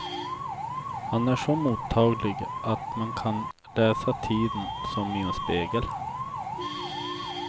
Han är så mottaglig att man kan läsa tiden som i en spegel.